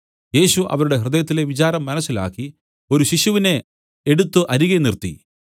യേശു അവരുടെ ഹൃദയത്തിലെ വിചാരം മനസ്സിലാക്കി ഒരു ശിശുവിനെ എടുത്തു അരികെ നിർത്തി